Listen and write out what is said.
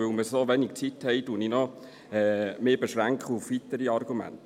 Da wir so wenig Zeit haben, beschränke ich mich auf weitere Argumente.